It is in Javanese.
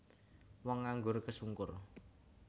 Wong nganggur kesungkur